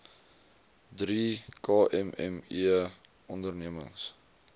drie kmme ondernemings